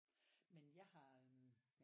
Men jeg har øh